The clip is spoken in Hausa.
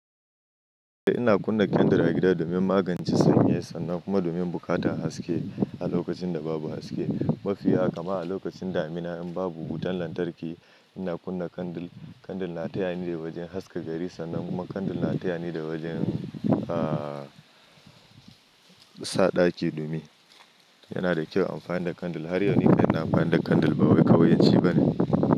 Ina kunna candle a gida domin magance sanyi sannan kuma domin buƙatar haske a lokacin da babu haske. Mafi yawa, kaman a lokacin damina in babu wutan lantarki ina kunna candle. Candle na tayani wajen haska gari sannan kuma candle na tayani wajen, sa ɗaki dumi. Yana da kyau amfani da candle. Har yau nake amfani da candle bawai ƙauyanci bane.